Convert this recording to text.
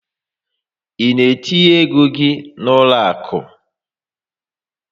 I na etinye égo gị n'uloaku?